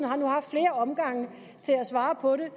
har nu haft flere omgange til at svare på det